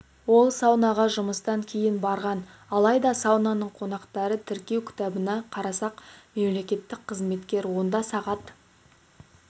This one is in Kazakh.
ол саунаға жұмыстан кейін барған алайда саунаның қонақтарды тіркеу кітабына қарасақ мемлекеттік қызметкер онда сағат